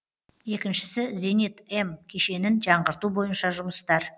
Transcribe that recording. екіншісі зенит м кешенін жаңғырту бойынша жұмыстар